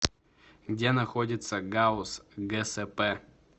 где находится гауз гсп